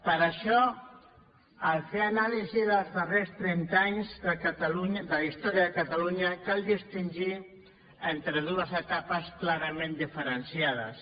per això en fer anàlisi dels darrers trenta anys de la història de catalunya cal distingir entre dues etapes clarament diferenciades